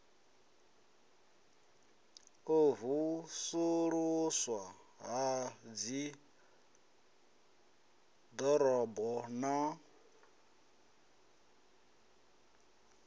u vusuluswa ha dziḓorobo na